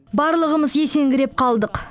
барлығымыз есеңгіреп қалдық